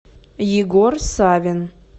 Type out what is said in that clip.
егор савин